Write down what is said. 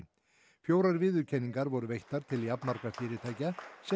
fjórar viðurkenningar voru veittar til jafnmargra fyrirtækja sem